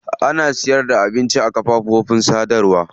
Ana sana'ar sayarda abinci a kafofin sadarwa.